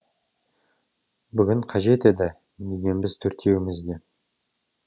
бүгін қажет еді дегенбіз төртеуіміз де